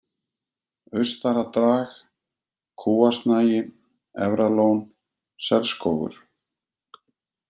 Austara-Drag, Kúasnagi, Efralón, Selsskógur